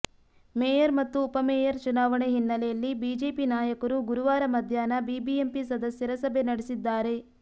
mayor ಮತ್ತು ಉಪಮೇಯರ್ ಚುನಾವಣೆ ಹಿನ್ನೆಲೆಯಲ್ಲಿ ಬಿಜೆಪಿ ನಾಯಕರು ಗುರುವಾರ ಮಧ್ಯಾಹ್ನ ಬಿಬಿಎಂಪಿ ಸದಸ್ಯರ ಸಭೆ ನಡೆಸಿದ್ದಾರೆ